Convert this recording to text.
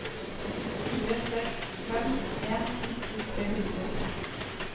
fire seks fem en nitten tre hundre og seks